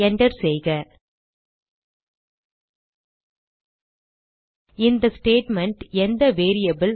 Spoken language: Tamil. enter செய்க இந்த ஸ்டேட்மெண்ட் எந்த வேரியபிள்